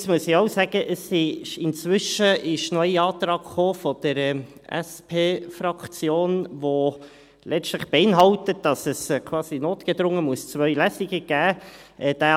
Allerdings muss ich auch sagen, dass inzwischen noch ein Antrag der SP-Fraktion gekommen ist, der letztlich beinhaltet, dass es quasi notgedrungen zwei Lesungen geben muss.